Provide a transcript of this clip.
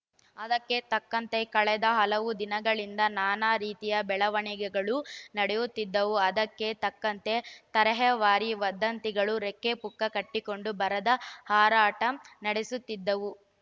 ಅದಕ್ಕೆ ತಕ್ಕಂತೆ ಕಳೆದ ಹಲವು ದಿನಗಳಿಂದ ನಾನಾ ರೀತಿಯ ಬೆಳವಣಿಗೆಗಳು ನಡೆಯುತ್ತಿದ್ದವು ಅದಕ್ಕೆ ತಕ್ಕಂತೆ ತರೇಹವಾರಿ ವದಂತಿಗಳು ರೆಕ್ಕೆ ಪುಕ್ಕ ಕಟ್ಟಿಕೊಂಡು ಭರದ ಹಾರಾಟ ನಡೆಸುತ್ತಿದ್ದವು